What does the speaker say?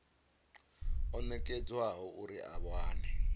o nekedzwaho uri a wane